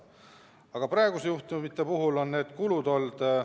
Aga praeguste juhtumite puhul on need kulud olnud ...